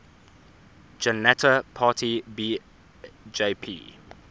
janata party bjp